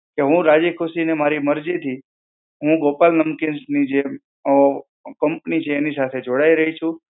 કે હું રાજીખુશી ને મારી મરજીથી, હું ગોપાલ નમકીન્સની જે ઓ company છે એની સાથે જોડાઈ રહી છું.